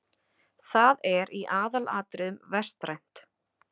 Það er í aðalatriðum vestrænt.